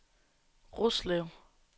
Roslev